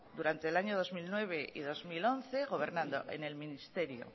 durante el año dos mil nueve y dos mil once gobernando en el ministerio